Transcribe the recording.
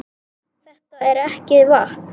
Þetta er ekki vatn!